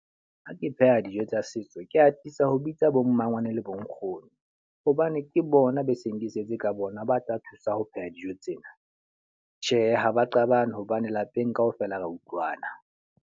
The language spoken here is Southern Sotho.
Ha ke pheha dijo tsa setso, ke atisa ho bitsa bo mmangwane le bo nkgono. Hobane ke bona be seng ke setse ka bona ba tla thusa ho pheha dijo tsena. Tjhe, ha ba qabane hobane lapeng ka ofela ra utlwana.